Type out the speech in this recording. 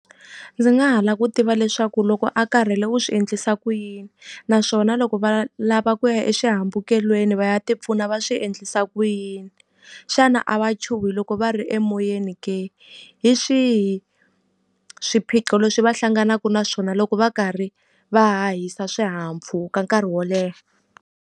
Ndzi nga ha lava ku tiva leswaku loko a karhele u swi endlisa ku yini? Naswona loko va lava ku ya exihambukelweni va ya ti pfuna va swi endlisa ku yini? Xana a wa chuhi loko va ri emoyeni ke? Hi swihi swiphiqo leswi va hlanganaka na swona loko va karhi va hahisa swihahampfhuka nkarhi wo leha?